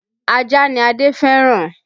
Ajá ni Adé fẹ́ràn